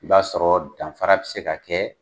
I b'a sɔrɔ danfara bi se ka kɛ